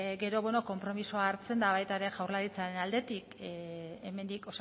gero beno konpromisoa hartzen da baita ere jaurlaritzaren aldetik hemendik